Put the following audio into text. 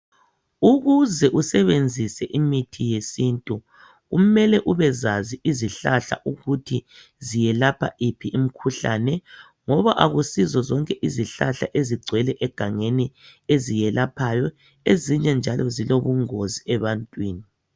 Ukuze usebenzise imithi yesintu kumele ubezazi isihlahla ukuthi ziyelapha iphi imkhuhlane ngoba akusizo zonke izihlahla ezigcwele egangeni eziyelaphayo ezinye njalo zilobungozi ebantwini